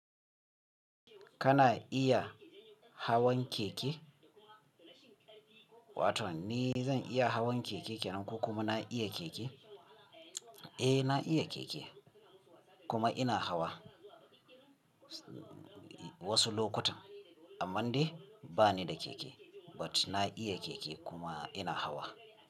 Kana iya hawan keke? Wato ni zan iya hawan keke ko kuma na iya keke? Eh na iya keke kuma ina hawa wasu lokutan amma dai bani da keke but na iya keke kuma ina hawa.